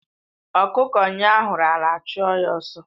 Ọkụkọ nyụo ahuru ala a chụọ ya ọsọ